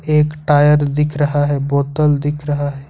एक टायर दिख रहा है बोतल दिख रहा है।